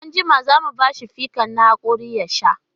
E, anjima za mu ba shi fikan na haƙori ya sha.